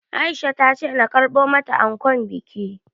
Aisha ta ce na karɓar mata ankon bikin